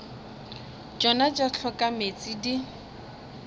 tšona tša hloka meetse di